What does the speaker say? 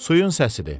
Suyun səsidir.